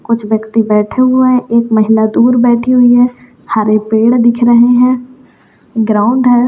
कुछ व्यक्ति बैठे हुए है एक महिला दूर बैठी हुई है हरे पेड़ दिख रहे हैं ग्राउंड है।